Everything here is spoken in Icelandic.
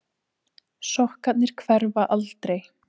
Sokkarnir hverfa aldrei.